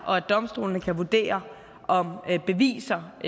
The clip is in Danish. og at domstolene kan vurdere om beviser er